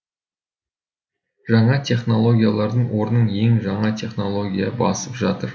жаңа технологиялардың орнын ең жаңа технология басып жатыр